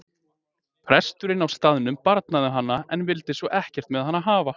Presturinn á staðnum barnaði hana en vildi svo ekkert með hana hafa.